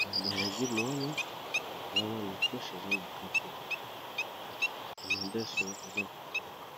me balegume wana eza nano freshe eza na kati na madeso eza kokauka.